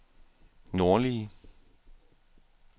nordlige